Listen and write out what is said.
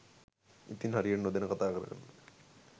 ඉතින් හරියට නොදැන කත කරන්න